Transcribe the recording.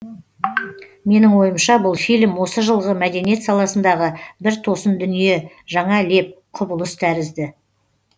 менің ойымша бұл фильм осы жылғы мәдениет саласындағы бір тосын дүние жаңа леп құбылыс тәрізді